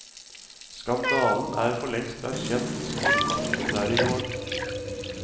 Skandalen er forlengst erkjent som et faktum der i gården.